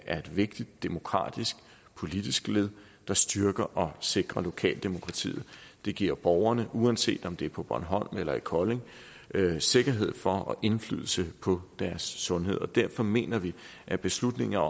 er et vigtigt demokratisk politisk led der styrker og sikrer lokaldemokratiet det giver borgerne uanset om det på bornholm eller i kolding sikkerhed for og indflydelse på deres sundhed og derfor mener vi at beslutninger